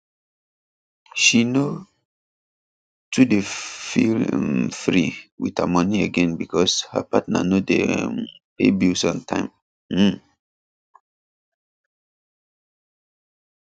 she no too dey feel um free with her money again because her partner no dey um pay bills on time um